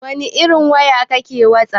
Wani irin waya ke wasap?